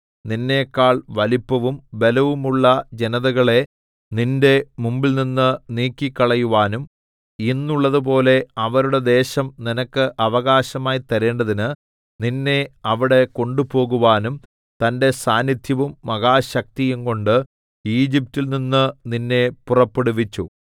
നിന്നെക്കാൾ വലിപ്പവും ബലവുമുള്ള ജനതകളെ നിന്റെ മുമ്പിൽനിന്ന് നീക്കിക്കളയുവാനും ഇന്നുള്ളതുപോലെ അവരുടെ ദേശം നിനക്ക് അവകാശമായി തരേണ്ടതിന് നിന്നെ അവിടെ കൊണ്ടുപോകുവാനും തന്റെ സാന്നിദ്ധ്യവും മഹാശക്തിയും കൊണ്ട് ഈജിപ്റ്റിൽ നിന്ന് നിന്നെ പുറപ്പെടുവിച്ചു